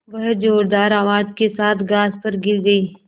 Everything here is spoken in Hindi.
वह ज़ोरदार आवाज़ के साथ घास पर गिर गई